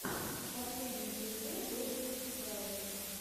последний эпизод добре бразерс